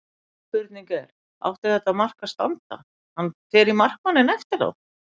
Mín spurning er: Átti þetta mark að standa, hann fer í markmanninn eftir á?